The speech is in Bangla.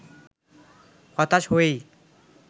হতাশ হয়েই